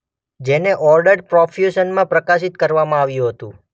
જેને ઓર્ડર્ડ પ્રોફ્યુશનમાં પ્રકાશિત કરવામાં આવ્યું હતું.